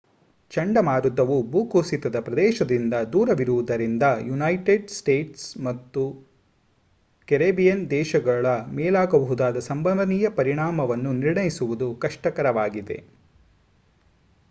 ಚಂಡಮಾರುತವು ಭೂಕುಸಿತದ ಪ್ರದೇಶದಿಂದ ದೂರವಿರುವುದರಿಂದ ಯುನೈಟೆಡ್ ಸ್ಟೇಟ್ಸ್ ಅಥವಾ ಕೆರಿಬಿಯನ್ ದೇಶಗಳ ಮೇಲಾಗಬಹುದಾದ ಸಂಭವನೀಯ ಪರಿಣಾಮವನ್ನು ನಿರ್ಣಯಿಸುವುದು ಕಷ್ಟಕರವಾಗಿದೆ